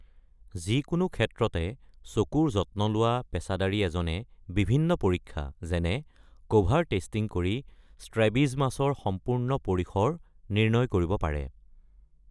যিকোনো ক্ষেত্ৰতে চকুৰ যত্ন লোৱা পেছাদাৰী এজনে বিভিন্ন পৰীক্ষা, যেনে কভাৰ টেষ্টিং কৰি ষ্ট্ৰেবিজমাছৰ সম্পূৰ্ণ পৰিসৰ নিৰ্ণয় কৰিব পাৰে।